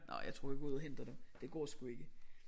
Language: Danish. Nåh jeg tror jeg går ud og henter dem det går sgu ikke